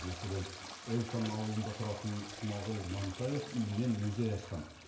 мәселен эльтон ауылында тұратын смағұл мантаев үйінен музей ашқан